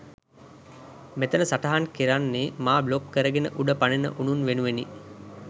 මෙතන සටහන් කරන්නේ මා බ්ලොක් කරගෙන උඩ පනින උනුන් වෙනුවෙනි.